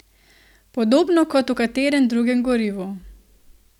Podobno kot v katerem drugem gorivu.